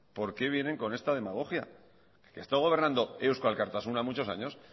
por qué vienen con esta demagogia que ha estado gobernando euzko alkartasuna muchos años